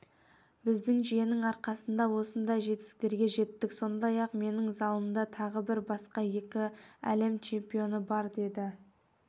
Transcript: біздің жүйенің арқасында осындай жетістіктерге жеттік сондай-ақ менің залымда тағы басқа екі әлем чемпионы бар деді